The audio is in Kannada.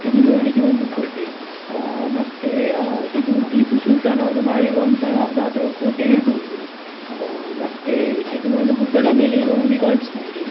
ಇದು ನೋಡ್ಲಿಕ್ಕೆ ಒಂದು ಕೋಟೆ ಮತ್ತೆ ಇದು ಟೀಪುಸುಲ್ತಾನ್‌ ಅವ್ರು ಮಾಡಿರುವಂತ ಯಾವುದಾದ್ರು ಕೋಟೆ ಇರ್ಬಹುದು ಮತ್ತೆ ಇದು ಒಂದು ಗುಡ್ಡದ ಮೇಲೆ ಇರುವಂಗೆ ಕಾಣಿಸ್ತ ಇದೆ.